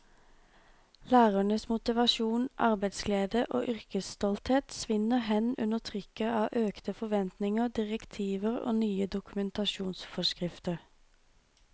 Lærernes motivasjon, arbeidsglede og yrkesstolthet svinner hen under trykket av økte forventninger, direktiver og nye dokumentasjonsforskrifter.